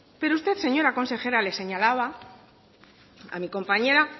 pero usted señora consejera le señalaba a mi compañera